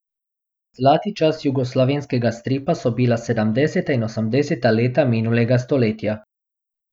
Zlati časi jugoslovanskega stripa so bila sedemdeseta in osemdeseta leta minulega stoletja.